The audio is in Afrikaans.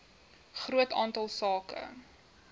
groot aantal sake